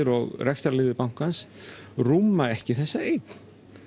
og rekstrarliðir bankans rúma ekki þessa eign